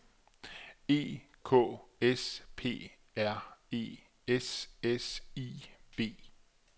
E K S P R E S S I V